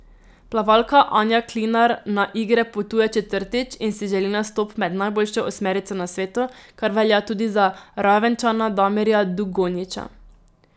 Plavalka Anja Klinar na igre potuje četrtič in si želi nastop med najboljšo osmerico na svetu, kar velja tudi za Ravenčana Damirja Dugonjića.